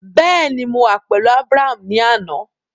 Bẹẹni, Mo wa pẹlu Abraham ni ana